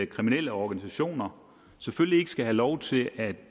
kriminelle organisationer selvfølgelig ikke skal have lov til at